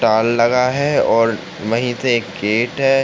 लगा है और वही से एक गेट है।